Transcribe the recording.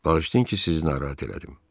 Bağışlayın ki, sizi narahat elədim.